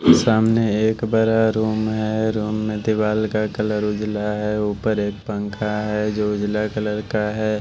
सामने एक बरा रूम है रूम में दीवाल का कलर उजला है ऊपर एक पंखा है जो उजला कलर का है।